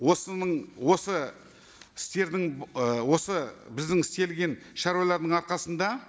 осының осы істердің ы осы біздің істелген шаруалардың арқасында